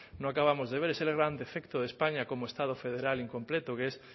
no acabamos de ver es el gran defecto de españa como estado federal incompleto que es